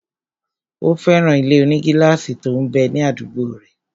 Ó fẹ́ràn ilé-onígílásì tó m bẹ ní àdúgbò rẹ̀